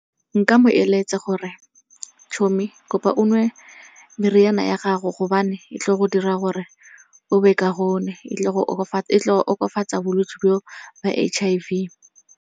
Nka mo eletsa gore tjhommie kopa o nwe meriana ya gago gobane e tlile go dira gore o be kaonne. E tlo go okofatsa bolwetse bo ba H_I_V.